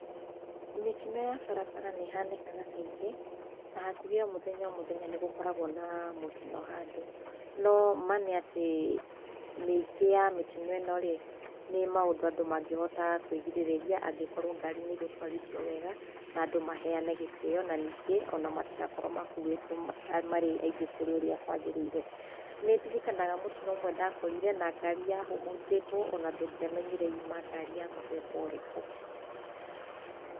Mĩtino ya barabara nĩ ĩhanĩkaga kaingĩ, na hakuhĩ o mũthenya o mũthenya nĩ gũkoragwo na mũtino handũ. No ma nĩ atĩ, mĩingĩ ya mĩtino ino rĩ, nĩ ũndũ andũ mangĩhota kũĩrigĩrĩria angĩkorwo ngarĩ nĩ igũtwarithio wega, na andũ maheyane gĩtĩo, na matigakorwo makuĩte marĩ aingĩ kũrĩũrĩa kwagĩrĩire. Nĩ ndirikanaga mũtino ũmwe ndakorire, na ngari yahũhũnjĩtwo ona ndũngĩamenyire yuma ngari ya mũthemba ũrĩkũ.